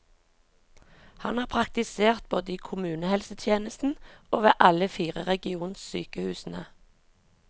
Han har praktisert både i kommunehelsetjenesten og ved alle fire regionsykehusene.